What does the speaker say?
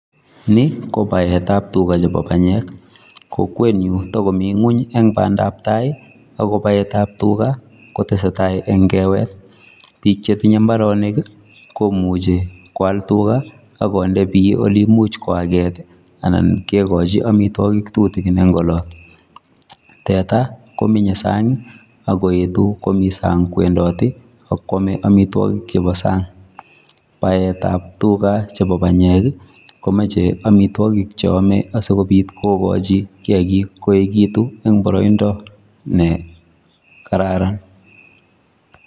Ni ko baetap tuga chebo panyek. Kokwenyu takomi ng'uny eng bandaptai ako baetap tuga kotesetai eng kewet. Bik chetinye mbaronik komuchi koal tuga akonde biy oleimuchi koaket anan kekochi amitwagik tutikin eng' olot. Teta kominye sang ak koetu komi sang kowendati ak koame amitwagik chebo sang. Baetap tuga chepo banyek komache amitwagik cheame asikobit kokachi kiakik koegitu eng' boroindo nekararan.